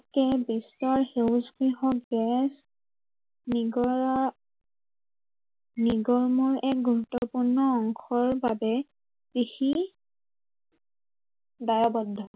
বিশ্বৰ চৌদিশে গেছ নিগৰা নিগৰ্মৰ এক গুৰুত্বপূৰ্ণ অংশৰ বাবে, কৃষি দায়ৱদ্ধ।